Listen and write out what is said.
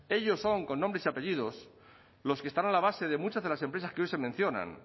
ellos son con nombres y apellidos los que están a la base de muchas de las empresas que hoy se mencionan